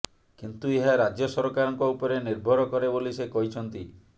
କିନ୍ତୁ ଏହା ରାଜ୍ୟସରକାରଙ୍କ ଉପରେ ନିର୍ଭର କରେ ବୋଲି ସେ କହିଛନ୍ତି